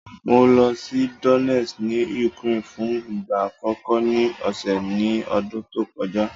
Mo lọ sí Donest ní Ukraine fún ìgbà àkọ́kọ́ ní ọ̀sẹ̀ ní ọdún tó kọjá.